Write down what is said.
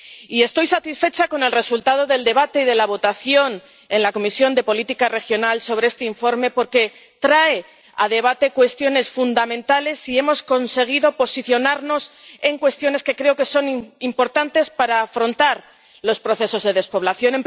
Y estoy satisfecha con el resultado del debate y de la votación en la Comisión de Desarrollo Regional sobre este informe, porque trae a debate cuestiones fundamentales y hemos conseguido posicionarnos en cuestiones que creo que son importantes para afrontar los procesos de despoblación.